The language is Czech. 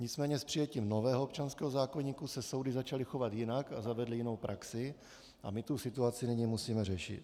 Nicméně s přijetím nového občanského zákoníku se soudy začaly chovat jinak a zavedly jinou praxi a my tu situaci nyní musíme řešit.